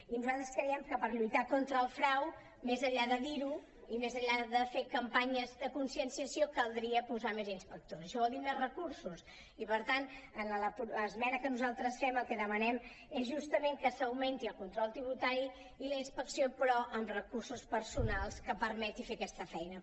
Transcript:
i nosaltres creiem que per lluitar contra el frau més enllà de dir·ho i més enllà de fer campanyes de conscienciació caldria posar més inspectors això vol dir més recursos i per tant en l’esmena que nosaltres fem el que demanem és justament que s’augmenti el control tributari i la inspecció però amb recursos personals que permetin fer aquesta feina